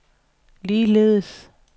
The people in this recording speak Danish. ligeledes